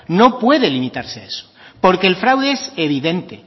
no puede limitarse a eso porque el fraude es evidente